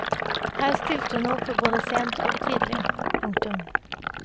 Her stilte hun opp både sent og tidlig. punktum